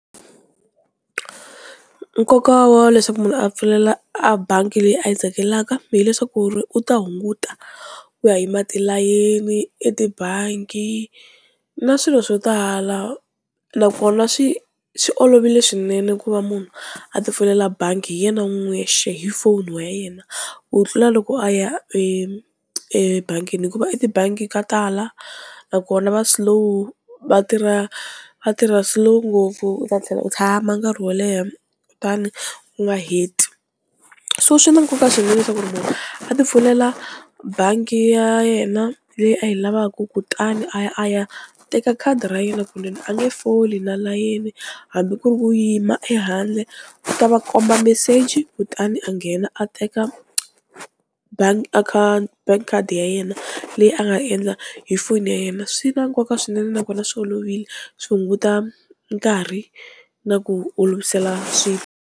Nkoka wa leswaku munhu a pfulela a bangi leyi a yi tsakelaka hileswaku ri u ta hunguta ku ya yima tilayeni etibangi na swilo swo tala nakona swi swi olovile swinene ku va munhu a ti pfulela bangi hi yena n'wini hi foni wa yena ku tlula loko a ya e ebangini hikuva etibangi ka tala nakona va slow, va tirha va tirha slow ngopfu u ta tlhela u tshama nkarhi wo leha kutani u nga heti, so swi na nkoka swinene leswaku munhu a ti pfulela bangi ra yena leyi a yi lavaka kutani a ya a ya teka khadi ra yena kunene a nge foli na layeni hambi ku ri ku yima ehandle u ta va komba meseji kutani a nghena a teka bangi a bank card ya yena leyi a nga endla hi foni ya yena, swi na nkoka swinene nakona swi olovile swi hunguta nkarhi na ku olovisela swilo.